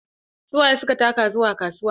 Su waye suka taka zuwa kasuwa?